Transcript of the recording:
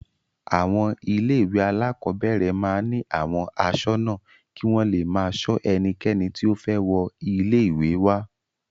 Àwọn ilé-ìwé alákọ̀ọ́bẹ̀rẹ̀ máa ń ní àwọn aṣọ́nà kí wọ́n le máa ṣọ ẹnikẹ́ni tí ó fẹ́ wọ ilé-ìwé wá.